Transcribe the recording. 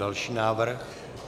Další návrh.